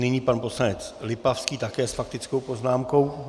Nyní pan poslanec Lipavský, také s faktickou poznámkou.